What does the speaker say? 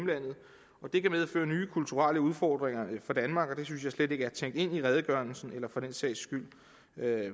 vil kan medføre nye kulturelle udfordringer for danmark og det synes jeg slet ikke er tænkt ind i redegørelsen eller for den sags skyld